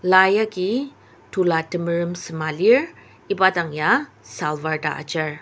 la yaki tola temerem sema lir iba dang ya salwaar ta ajar.